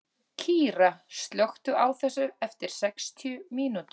Kíra, slökktu á þessu eftir sextíu mínútur.